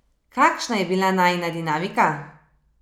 Kakšna je bila najina dinamika?